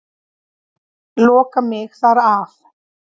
Loka mig þar af.